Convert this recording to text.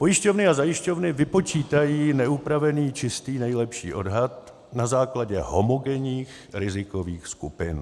Pojišťovny a zajišťovny vypočítají neupravený čistý nejlepší odhad na základě homogenních rizikových skupin.